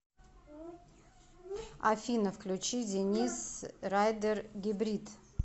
афина включи денис райдер гибрид